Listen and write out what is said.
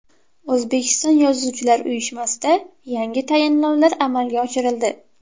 O‘zbekiston yozuvchilar uyushmasida yangi tayinlovlar amalga oshirildi.